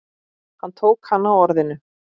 Hann tók hana á orðinu.